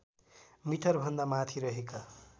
मिटरभन्दा माथि रहेका